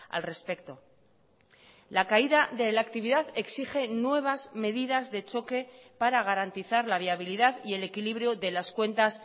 al respecto la caída de la actividad exige nuevas medidas de choque para garantizar la viabilidad y el equilibrio de las cuentas